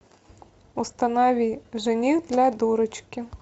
установи жених для дурочки